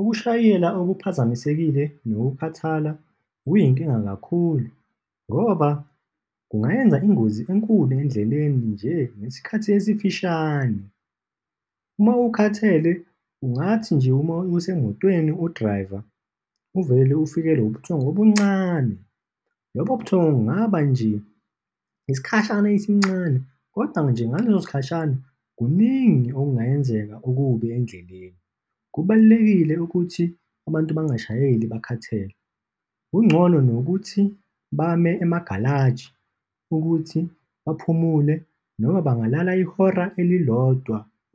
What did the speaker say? Ukushayela okuphazamisekile nokukhathala kuyinkinga kakhulu, ngoba kungayenza ingozi enkulu endleleni nje, ngesikhathi esifishane. Uma ukhathele, kungathi nje uma usemotweni, u-drive-a, uvele ufikelwe ubuthongo obuncane, lobo buthongo bungaba nje isikhashana esincane, kodwa nje, ngaleso sikhashana, kuningi okungayenzeka okubi endleleni. Kubalulekile ukuthi abantu bangayishayeli bakhathele kungcono nokuthi bame emagalaji ukuthi baphumule, noma bangalala ihora